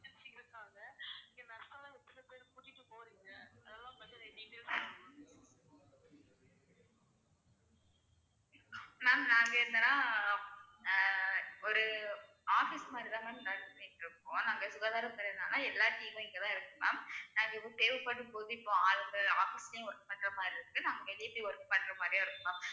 ma'am நாங்க என்னனா ஆஹ் ஒரு office மாதிரி தான் ma'am நடத்திட்டுருக்கோம் நாங்க சுகாதாரத்துறையினால எல்லா team ம் இங்க தான் இருக்கு ma'am நாங்க எது தேவைப்படும்போது இப்போ ஆளுங்க office லையும் work பண்ற மாதிரி இருக்கு நாங்க வெளியே போய் work பண்ற மாதிரியும் இருக்கு ma'am